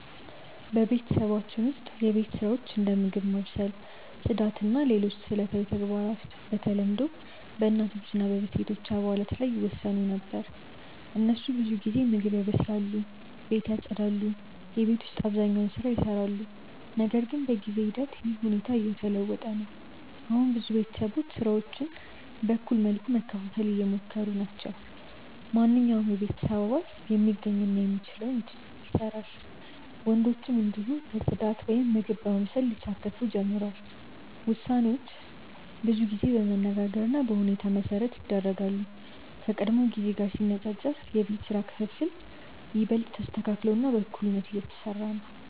በቤተሰባችን ውስጥ የቤት ስራዎች እንደ ምግብ ማብሰል፣ ጽዳት እና ሌሎች ዕለታዊ ተግባራት በተለምዶ በእናቶች እና በሴቶች አባላት ላይ ይወሰኑ ነበር። እነሱ ብዙ ጊዜ ምግብ ያበስላሉ፣ ቤትን ያጽዳሉ እና የቤት ውስጥ አብዛኛውን ስራ ይሰራሉ። ነገር ግን በጊዜ ሂደት ይህ ሁኔታ እየተለወጠ ነው። አሁን ብዙ ቤተሰቦች ስራዎችን በእኩል መልኩ ለመከፋፈል እየሞከሩ ናቸው። ማንኛውም የቤተሰብ አባል የሚገኝ እና የሚችለውን ስራ ይሰራል፣ ወንዶችም እንዲሁ በጽዳት ወይም በምግብ ማብሰል ሊሳተፉ ጀምረዋል። ውሳኔዎች ብዙ ጊዜ በመነጋገር እና በሁኔታ መሠረት ይደረጋሉ፣ ከቀድሞ ጊዜ ጋር ሲነጻጸር የቤት ስራ ክፍፍል ይበልጥ ተስተካክሎ እና በእኩልነት እየተሰራ ነው።